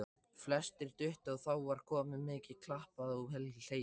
Flestir duttu og þá var mikið klappað og hlegið.